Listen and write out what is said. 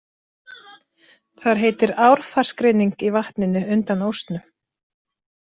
Þar heitir Árfarsgrynning í vatninu undan „ósnum“.